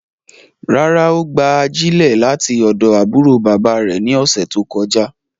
Rárá, o gba ajilẹ lati ọdọ aburo baba rẹ ni ọsẹ to kọja